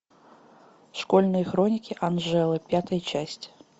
школьные хроники анжелы пятая часть